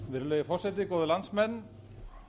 virðulegi forseti góðir landsmenn